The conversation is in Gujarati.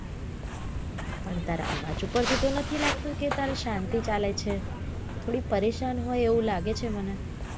પણ તારા અવાજ ઉપર થી તો નથી લાગતું કે તારે શાંતિ ચાલે છે થોડી પરેશાન હોઈ એવું લાગે છે મને